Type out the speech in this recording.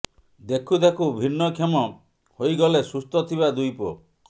ଦେଖୁ ଦେଖୁ ଭିନ୍ନ କ୍ଷମ ହୋଇଗଲେ ସୁସ୍ଥ ଥିବା ଦୁଇ ପୁଅ